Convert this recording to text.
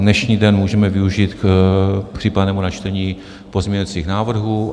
Dnešní den můžeme využít k případnému načtení pozměňovacích návrhů.